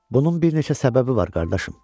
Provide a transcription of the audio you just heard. Bunun bir neçə səbəbi var, qardaşım.